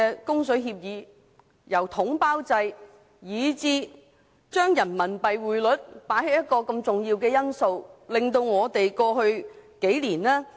供水協議下統包制以人民幣結算，匯率因素過於重要。